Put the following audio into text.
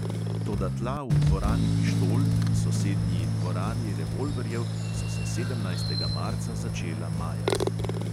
Toda tla v dvorani pištol in sosednji dvorani revolverjev so se sedemnajstega marca začela majati.